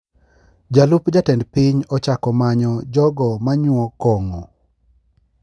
Jalup jatend piny ochako manyo jogo manyuo kong`o